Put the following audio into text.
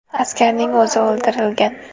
Askarning o‘zi o‘ldirilgan.